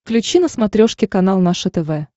включи на смотрешке канал наше тв